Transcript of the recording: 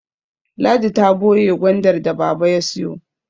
Ladi ta boye Gwandar da baba ya siyo